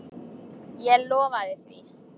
Ég lofaði því.